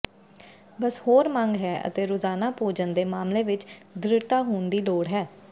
ਬਸ ਹੋਰ ਮੰਗ ਹੈ ਅਤੇ ਰੋਜ਼ਾਨਾ ਭੋਜਨ ਦੇ ਮਾਮਲੇ ਵਿਚ ਦ੍ਰਿੜਤਾ ਹੋਣ ਦੀ ਲੋੜ ਹੈ